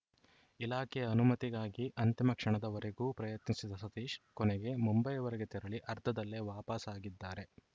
ಇಲಾಖೆಯ ಅನುಮತಿಗಾಗಿ ಅಂತಿಮ ಕ್ಷಣದವರೆಗೂ ಪ್ರಯತ್ನಿಸಿದ ಸತೀಶ್‌ ಕೊನೆಗೆ ಮುಂಬೈವರೆಗೆ ತೆರಳಿ ಅರ್ಧದಲ್ಲೇ ವಾಪಸಾಗಿದ್ದಾರೆ